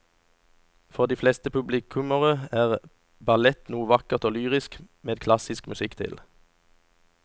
For de fleste publikummere er ballett noe vakkert og lyrisk med klassisk musikk til.